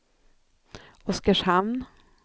Oskarshamn